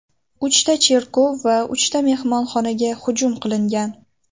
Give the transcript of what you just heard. Uchta cherkov va uchta mehmonxonaga hujum qilingan.